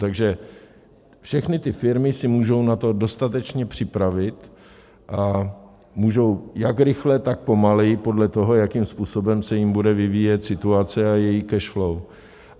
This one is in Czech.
Takže všechny ty firmy se můžou na to dostatečně připravit a můžou jak rychle, tak pomaleji, podle toho, jakým způsobem se jim bude vyvíjet situace a jejich cash flow.